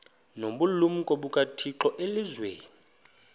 nobulumko bukathixo elizwini